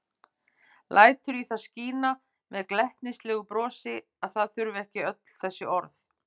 Lætur í það skína með glettnislegu brosi að það þurfi ekki öll þessi orð.